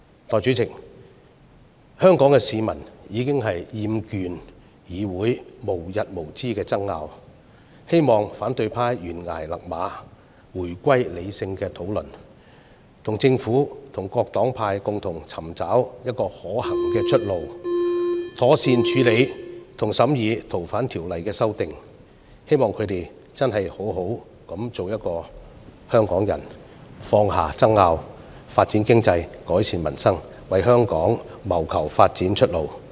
代理主席，香港市民已經厭倦議會無日無之的爭拗，希望反對派懸崖勒馬，回歸理性的討論，與政府和各黨派共同尋找可行的出路，妥善處理和審議《條例草案》，希望他們好好地做香港人，放下爭拗、發展經濟、改善民生，為香港謀求發展出路。